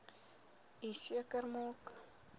u seker maak